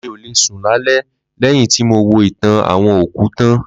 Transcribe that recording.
Mí ò le sùn lálẹ́ lẹ́yìn tí mo wo ìtàn àwọn òkú tán